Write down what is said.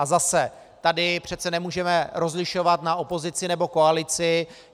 A zase - tady přece nemůžeme rozlišovat na opozici nebo koalici.